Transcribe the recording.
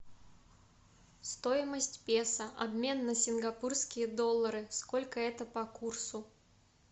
стоимость песо обмен на сингапурские доллары сколько это по курсу